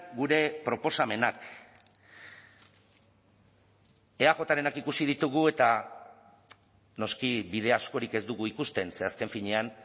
gure proposamenak eajrenak ikusi ditugu eta noski bide askorik ez dugu ikusten ze azken finean